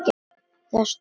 Það stóð stutt.